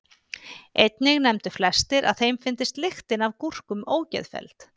Einnig nefndu flestir að þeim fyndist lyktin af gúrkum ógeðfelld.